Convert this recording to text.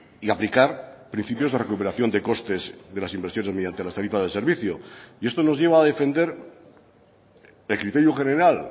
y aplicar principios de recuperación de costes de las inversiones mediante las tarifas de servicio y esto nos lleva a defender el criterio general